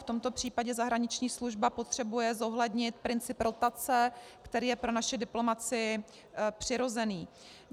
V tomto případě zahraniční služba potřebuje zohlednit princip rotace, který je pro naši diplomacii přirozený.